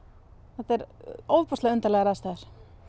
þetta eru ofboðslega undarlegar aðstæður